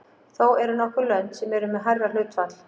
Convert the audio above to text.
Þó eru nokkur lönd sem eru með hærra hlutfall.